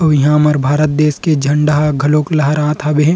ये हमर भारत देश के झंडा ह घलोक लहरात हवे।